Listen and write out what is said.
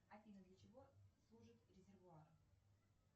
афина для чего служит резервуар